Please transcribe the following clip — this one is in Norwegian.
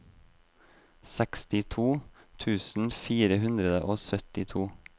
sekstito tusen fire hundre og syttito